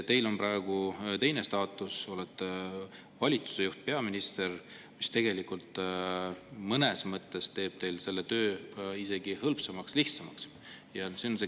Teil on praegu teine staatus, olete valitsuse juht, peaminister, mis mõnes mõttes teeb teil selle töö isegi hõlpsamaks, lihtsamaks.